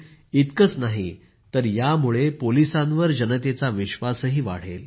इतकंच नाही तर यामुळे पोलिसांवर जनतेचा विश्वासही वाढेल